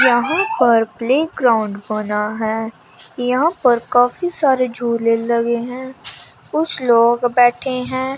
यहां पर प्लेग्राउंड बना है यहां पर काफी सारे झूले लगे हैं कुछ लोग बैठे हैं।